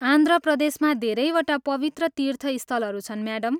आन्ध्र प्रदेशमा धेरैवटा पवित्र तीर्थस्थलहरू छन् म्याडम।